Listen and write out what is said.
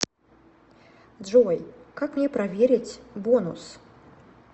джой как мне проверить бонус